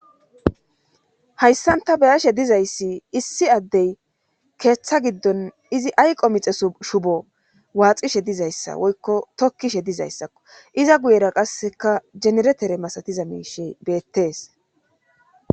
hayssanta beyashe dizayssi issi addey keeththa giddon izi ayqo mixe shubo waaxishe dizayssa woykko tokkishe dizayssakko iza guyera qasseka generetere masatiza miishe beettees